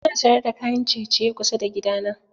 Ana sayar da kayan ciye-ciye kusa da gida na.